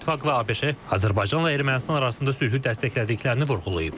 Avropa İttifaqı və ABŞ isə Azərbaycanla Ermənistan arasında sülhü dəstəklədiklərini vurğulayıb.